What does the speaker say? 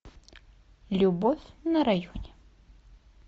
любовь на районе